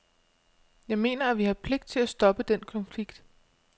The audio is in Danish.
Jeg mener, at vi har pligt til at stoppe den konflikt.